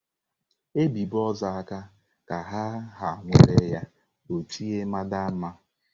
E bibe ozu aka ka a ha nwere ya o tie mhadamha.